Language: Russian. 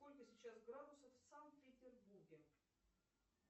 сколько сейчас градусов в санкт петербурге